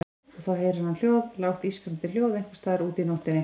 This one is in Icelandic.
Og þá heyrir hann hljóð, lágt ískrandi hljóð einhvers staðar úti í nóttinni.